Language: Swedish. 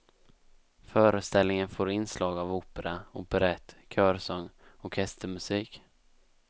Föreställningen får inslag av opera, operett, körsång, orkestermusik.